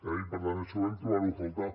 i per tant això vàrem trobar ho a faltar